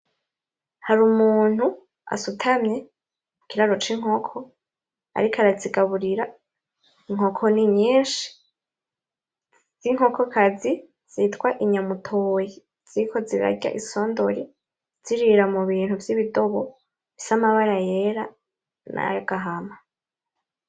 Hari umuntu asutamye mukiraro cinkoko ariko arazigaburira inkoko ni nyinshi, z'Inkokokazi zitwa inyamutoyi ziriko zirarya isondori zirira mubintu byibidobo bifise amabara yera nayagahama